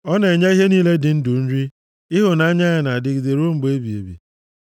Ọ na-enye ihe niile dị ndụ nri, Ịhụnanya ya na-adịgide ruo mgbe ebighị ebi.